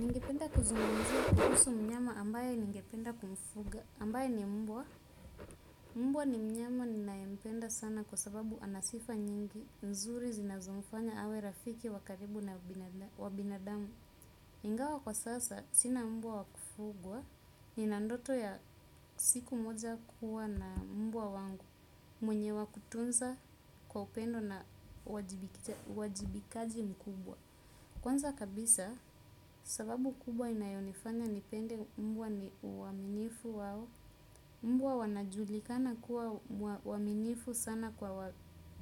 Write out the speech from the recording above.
Ningependa kuzungumzia kuhusu mnyama ambaye ningependa kumfuga ambaye ni mbwa. Mbwa ni mnyama ninayempenda sana kwa sababu ana sifa nyingi nzuri zinazomfanya awe rafiki wa karibu wa binadamu. Ingawa kwa sasa, sina mbwa wa kufugwa nina ndoto ya siku moja kuwa na mbwa wangu mwenye wa kutunza kwa upendo na wajibikaji mkubwa. Kwanza kabisa, sababu kubwa inayonifanya nipende mbwa ni uaminifu wao, mbwa wanajulikana kuwa waminifu sana kwa